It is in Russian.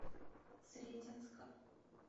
сретенска